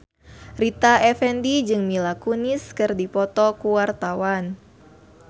Rita Effendy jeung Mila Kunis keur dipoto ku wartawan